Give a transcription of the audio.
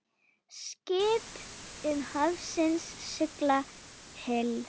Skip um hafsins sigla hyl.